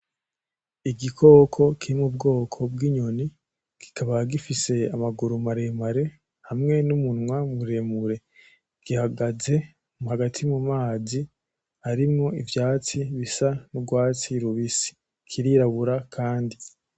Igikoko kiri m'ubwoko bw'inyoni kikaba gifise amaguru maremare hamwe n'umunwa muremure, gihagaze hagati mumazi harimwo ivyatsi bisa n'urwatsi rubisi kirirabura kandi.